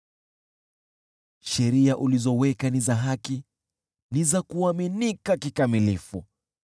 Sheria ulizoziweka ni za haki, ni za kuaminika kikamilifu.